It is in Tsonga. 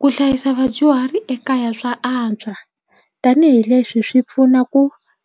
Ku hlayisa vadyuhari ekaya swa antswa tanihileswi swi pfuna ku